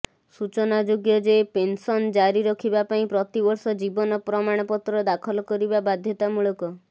ସୂଚନାଯୋଗ୍ୟଯେ ପେନ୍ସନ୍ ଜାରି ରଖିବା ପାଇଁ ପ୍ରତିବର୍ଷ ଜୀବନ ପ୍ରମାଣପତ୍ର ଦାଖଲ କରିବା ବାଧ୍ୟତାମୂଳକ